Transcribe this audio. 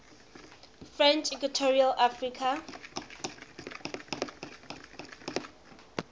french equatorial africa